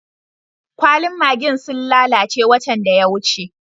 Kwallin maggi'n sun lallace watan da ya wuce.